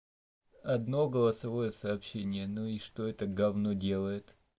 одно голосовое сообщение ну и что это гавно делает